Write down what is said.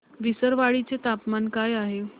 विसरवाडी चे तापमान काय आहे